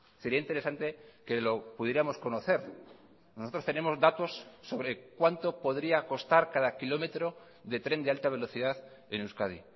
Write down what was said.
sería interesante que lo pudiéramos conocer nosotros tenemos datos sobre cuánto podría costar cada kilómetro de tren de alta velocidad en euskadi